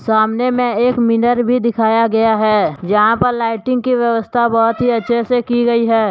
सामने में एक मीनर भी दिखाया गया है जहां पर लाइटिंग की व्यवस्था बहुत अच्छे से की गई है।